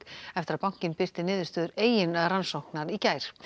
eftir að bankinn birti niðurstöður eigin rannsóknar í gær